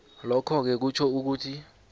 lokhoke kutjho ukuthi